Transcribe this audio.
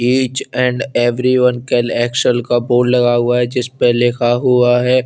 Each and everyone action का board लगा हुआ है जिस पे लिखा हुआ है।